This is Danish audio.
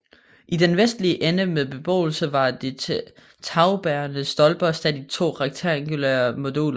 I den vestlige ende med beboelse var de tagbærende stolper sat i to rektangulære moduler